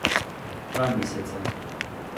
Dva meseca.